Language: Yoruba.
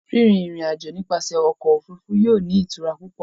Rinrin irin-ajo nipasẹ ọkọ ofurufu yóò ni itura pupọ